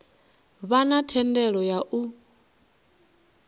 vha na thendelo ya u